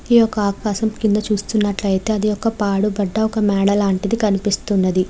ఈ యొక్క ఆకాశం కింద చూస్తున్నట్లు అయితే అది పాడుబడ్డ ఒక మేడ లాంటిది కనిపిస్తున్నది.